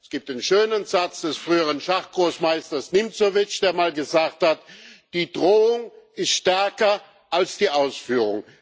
Es gibt den schönen Satz des früheren Schachgroßmeisters Nimzowitsch, der mal gesagt hat Die Drohung ist stärker als die Ausführung.